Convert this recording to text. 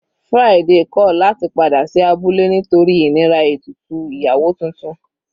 Friday kọ̀ láti padà sí abúlé nítorí ìnira ètùtù ìyàwó titun.